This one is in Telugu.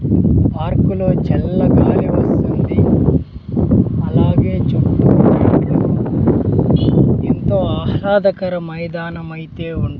పార్కు లో చల్ల గాలి వస్తుంది అలాగే చెప్పు ఎంతో ఆహ్లాదకర మైదానమైతే ఉం --